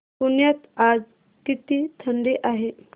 पुण्यात आज किती थंडी आहे